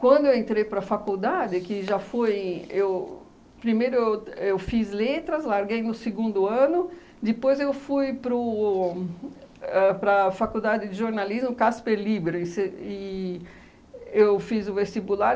Quando eu entrei para a faculdade que já fui eu, primeiro eu eu fiz letras, larguei no segundo ano, depois eu fui para o ãh para a faculdade de jornalismo, Casper Líbero, e se e eu fiz o vestibular.